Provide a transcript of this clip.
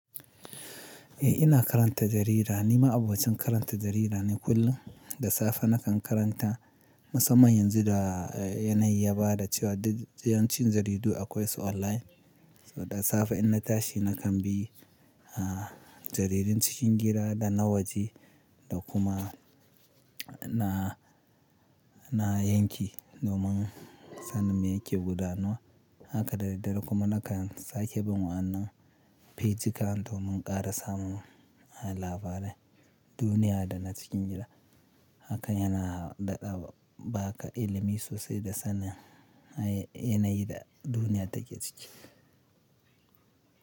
Eh ina karanta jarida, ni ma abocin karanta jarida ne kullum. Da safe na kan karanta musamman yanzu da yanayi ya bada cewa yawancin jaridu akwai su online. Da safe in na tashi na kan bi, ah, jaridun cikin gira da nawaji da kuma na, na yanki domin sanin me yake gudana. Haka da daddare kuma nakan sake bin wannan fejika domin ƙara samun labaran duniya da na cikin gida. Haka yana ba ka ilimi sosai da sanin yanayin da duniya take ciki.